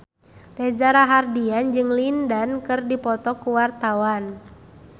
Reza Rahardian jeung Lin Dan keur dipoto ku wartawan